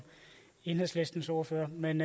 enhedslistens ordfører men